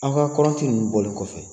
Aw ka kɔrɔnti ninnu bɔli kɔfɛ.